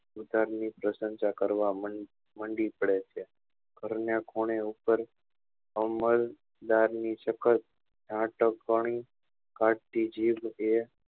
બીજા ની પ્રસંસા કરવા માં મંડી પડે છે ઘર ની ખૂણે ઉપર અવ્વાલ્દારી ની સખત નાટક વાણી કાત્તી જીભ એ